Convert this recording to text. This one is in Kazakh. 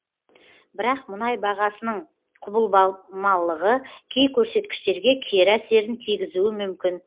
бірақ мұнай бағасының құбылмалылығы кей көрсеткіштерге кері әсерін тигізуі мүмкін